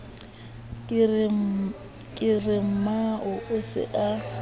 ke re mmao o se